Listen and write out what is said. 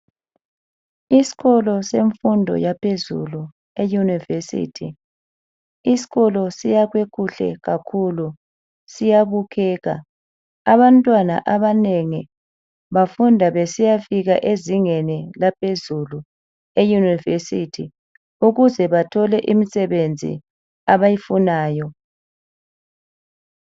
Iskolo semfundo yaphezulu, iyunivesithu. Iskolo siyakhwe kuhle kakhulu, siyabukeka. Abantwana abanengi bafunda besiyafika ezingeni laphezulu (eyunivesithi) ukuze bathole imsebenzi abayifunayo.